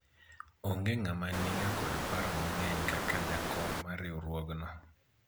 onge ng'ama niga kod paro mang'eny kaka jakom mar riwruogno